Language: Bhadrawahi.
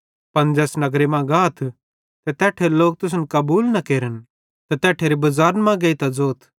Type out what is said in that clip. पन ज़ैस नगर मां गाथ ते तैट्ठेरे लोक तुसन कबूल न केरन त तैट्ठेरे बज़ारन मां गेइतां ज़ोथ